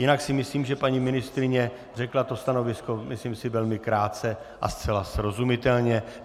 Jinak si myslím, že paní ministryně řekla to stanovisko myslím si velmi krátce a zcela srozumitelně.